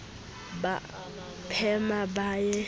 ba a phema ba ye